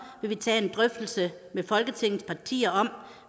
vil vi tage en drøftelse med folketingets partier om